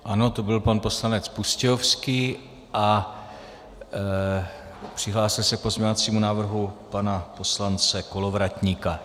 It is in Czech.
Ano, to byl pan poslanec Pustějovský a přihlásil se k pozměňovacímu návrhu pana poslance Kolovratníka.